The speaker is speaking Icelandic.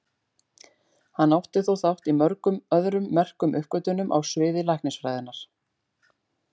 Hann átti þó þátt í mörgum öðrum merkum uppgötvunum á sviði læknisfræðinnar.